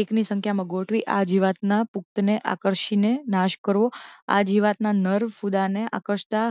એકની સંખ્યામાં ગોઠવી આ જીવાતના પુખ્તને આકર્ષીને નાશ કરવો આ જીવાતના નર ફૂદાંને આકર્ષતા